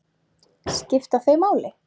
Skipta þau máli?